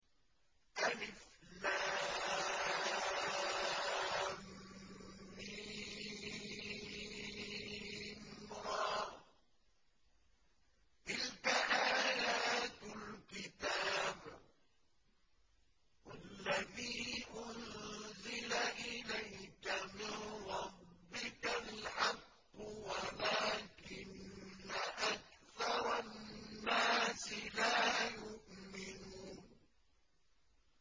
المر ۚ تِلْكَ آيَاتُ الْكِتَابِ ۗ وَالَّذِي أُنزِلَ إِلَيْكَ مِن رَّبِّكَ الْحَقُّ وَلَٰكِنَّ أَكْثَرَ النَّاسِ لَا يُؤْمِنُونَ